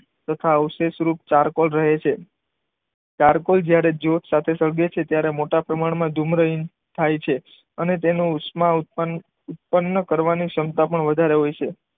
તથા અવશેષરૂપ ચારકોલ રહે છે. ચારકોલ જ્યારે સાથે સળગે છે ત્યારે મોટા પ્રમાણમાં ધુમ્ર થાય છે. અને તેનું ઉષ્મા ઉત્પન્ન કરવાની ક્ષમતા પણ વધારે હોય છે.